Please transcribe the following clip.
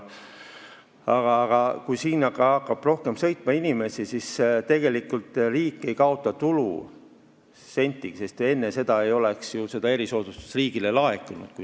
Aga kui hakkab ka rohkem inimesi sõitma, siis riik ei kaota sentigi tulu, sest enne ei oleks ju seda erisoodustusmaksu riigile laekunud.